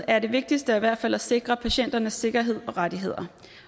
er det vigtigste i hvert fald at sikre patienternes sikkerhed og rettigheder